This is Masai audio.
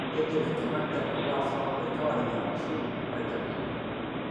kindim enkiroket ataa sapuk tekewarie arashu iragita.